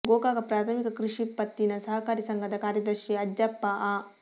ಗೋಕಾಕ ಪ್ರಾಥಮಿಕ ಕೃಷಿ ಪತ್ತಿನ ಸಹಕಾರಿ ಸಂಘದ ಕಾರ್ಯದರ್ಶಿ ಅಜ್ಜಪ್ಪ ಅ